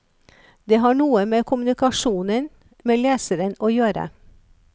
Det har noe med kommunikasjonen med leseren å gjøre.